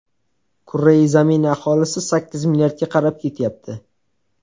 Kurrai zamin aholisi sakkiz milliardga qarab ketyapti.